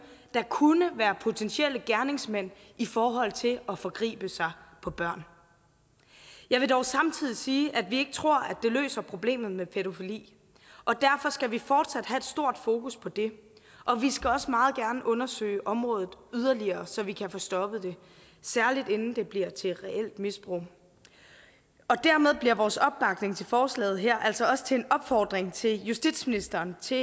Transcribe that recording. der kunne være potentielle gerningsmænd i forhold til at forgribe sig på børn jeg vil dog samtidig sige at vi ikke tror at det løser problemet med pædofili derfor skal vi fortsat have et stort fokus på det og vi skal også meget gerne undersøge området yderligere så vi kan få stoppet det særlig inden det bliver til reelt misbrug dermed bliver vores opbakning til forslaget her altså også til en opfordring til justitsministeren til